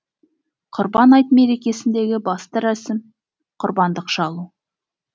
құрбан айт мерекесіндегі басты рәсім құрбандық шалу